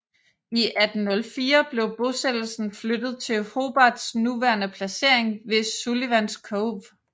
I 1804 blev bosættelsen flyttet til Hobarts nuværende placering ved Sullivans Cove